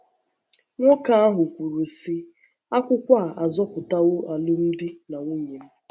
Nwoke ahụ kwuru, sị:: “ Akwụkwọ a azọpụtawo alụmdi na nwunye m! ”